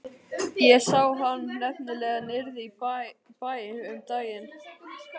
Ég sá hann nefnilega niðri í bæ um daginn.